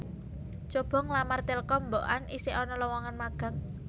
Cobo nglamar Telkom mbokan isih ana lowongan magang